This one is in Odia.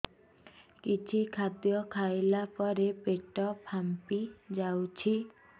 କିଛି ଖାଦ୍ୟ ଖାଇଲା ପରେ ପେଟ ଫାମ୍ପି ଯାଉଛି